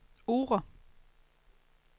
Oure